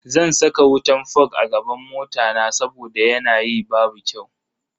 Zan saka wutan fog a gaban mota na saboda yanayi babu kyau.